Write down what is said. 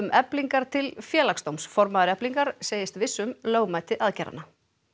Eflingar til Félagsdóms formaður Eflingar segist viss um lögmæti aðgerðanna